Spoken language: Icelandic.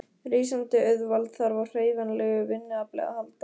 Rísandi auðvald þarf á hreyfanlegu vinnuafli að halda.